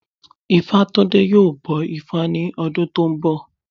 Ifátúndé yóò bọ ifá ní ọdún tó ń bọ̀